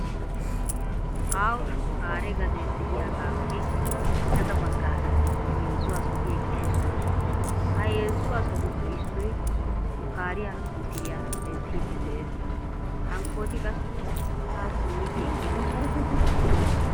Aaho shukkaare gadee de"iyaagaappe gaxa baggaara heezzu asati eqqidosona. Ha heezzu asatuppe issoy shukkaariya misiliya denttiiddi de'ees hankkooti qassi haa simmidi eqqidosona.